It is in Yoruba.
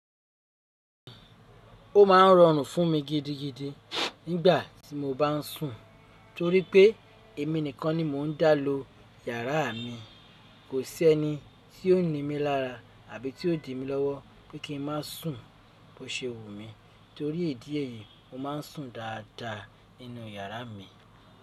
Ó ma ń rọrùn fún mi gidigidi nígbà tí mo bá ń sùn, torí pé èmi nìkan ni mò ń dá ló yàrá mi. Kò sí ẹni tí ó ní mi lára àbí tí ó di mí lọ́wọ́ pe kí n má sùn bó ṣe wù mí. Torí idi eyìí, mo ma ń sùn dáadáa nínú yàrá mi.